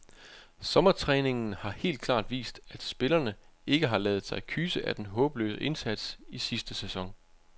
Sommertræningen har helt klart vist, at spillerne ikke har ladet sig kyse af den håbløse indsats i sidste sæson.